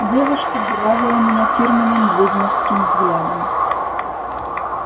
девушка буравила меня фирменным ведьмовским взглядом